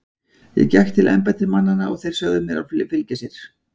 Ég gekk til embættismannanna og þeir sögðu mér að fylgja sér.